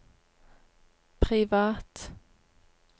privat